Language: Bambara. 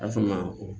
A fa ma